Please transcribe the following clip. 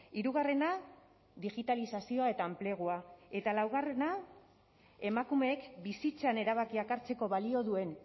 hirugarrena digitalizazioa eta enplegua eta laugarrena emakumeek bizitzan erabakiak hartzeko balio duen